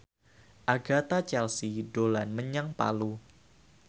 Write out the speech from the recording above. Agatha Chelsea dolan menyang Palu